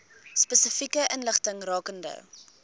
spesifieke inligting rakende